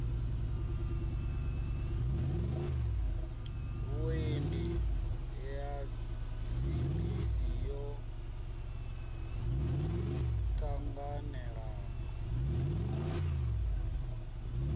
vhuendi ya dzibisi yo ṱanganelano